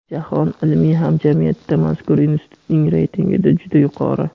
Jahon ilmiy hamjamiyatida mazkur Institutning reytingda juda yuqori.